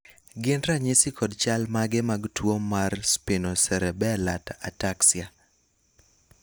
gin ranyisi kod chal mage mag tuo mar spinocerebela ataxia